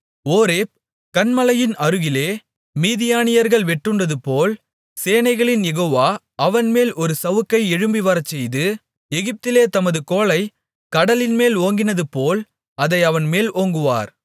Horeb கன்மலையின் அருகிலே மீதியானியர்கள் வெட்டுண்டதுபோல் சேனைகளின் யெகோவா அவன்மேல் ஒரு சவுக்கை எழும்பிவரச்செய்து எகிப்திலே தமது கோலைக் கடலின்மேல் ஓங்கினதுபோல் அதை அவன்மேல் ஓங்குவார்